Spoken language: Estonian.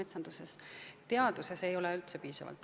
Teaduses tervikuna ei ole raha piisavalt.